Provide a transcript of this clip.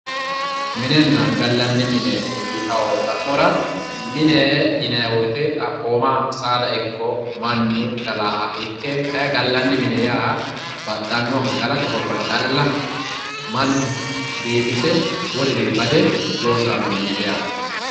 Minenna gallanni mine yittano xa'mora mine yinnayi woyte xaphoma saada ikko mannu gallaha ikke kayinni gallanni mine yaa baxxano gallate horora calla mannu biifise woluri bade loosirano mineti yaate.